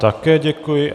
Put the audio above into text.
Také děkuji.